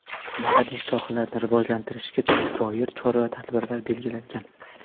madaniyat sohalarini rivojlantirishga doir chora-tadbirlar belgilangan.